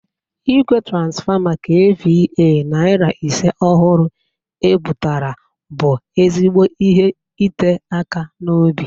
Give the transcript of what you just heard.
Igwe transfọma KVA narị ise ọhụrụ e bụtara bụ ezigbo ihe ite aka n'obi.